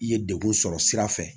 I ye degun sɔrɔ sira fɛ